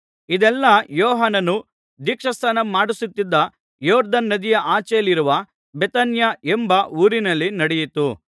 ಇದೆಲ್ಲಾ ಯೋಹಾನನು ದೀಕ್ಷಾಸ್ನಾನ ಮಾಡಿಸುತ್ತಿದ್ದ ಯೊರ್ದನ್ ನದಿಯ ಆಚೆಯಲ್ಲಿರುವ ಬೇಥಾನ್ಯ ಎಂಬ ಊರಿನಲ್ಲಿ ನಡೆಯಿತು